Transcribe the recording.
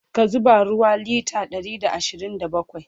ka zuba ruwa litre Ɗari da ashirin da bakwai!